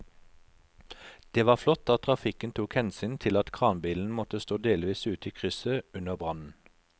Det var flott at trafikken tok hensyn til at kranbilen måtte stå delvis ute i krysset under brannen.